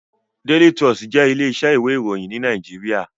Daily Trust jé ilé isẹ́ ìwé ìròyìn ní Naijiria